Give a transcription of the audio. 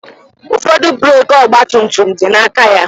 Ụfọdụ breeki ọgba tum tum dị na aka ya